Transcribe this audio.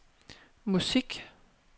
musik